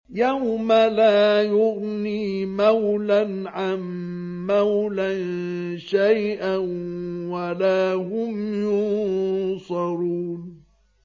يَوْمَ لَا يُغْنِي مَوْلًى عَن مَّوْلًى شَيْئًا وَلَا هُمْ يُنصَرُونَ